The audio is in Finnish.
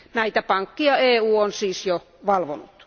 Näitä pankkeja EU on siis jo valvonut.